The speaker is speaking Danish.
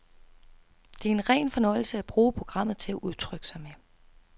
Det er en ren fornøjelse at bruge programmet til at udtrykke sig med.